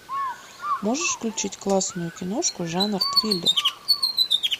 можешь включить классную киношку жанр триллер